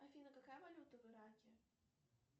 афина какая валюта в ираке